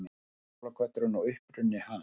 Jólakötturinn og uppruni hans.